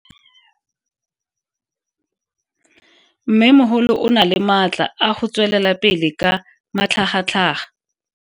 Mmemogolo o na le matla a go tswelela pele ka matlhagatlhaga.